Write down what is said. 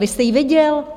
Vy jste jí viděl?